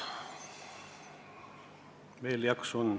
Veel jaksu on.